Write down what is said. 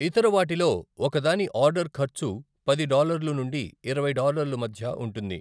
ఇతర వాటిలో, ఒకదాని ఆర్డర్ ఖర్చు పది డాలర్లు నుండి ఇరవై డాలర్లు మధ్య ఉంటుంది.